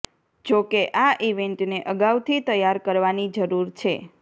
જો કે આ ઇવેન્ટને અગાઉથી તૈયાર કરવાની જરૂર છે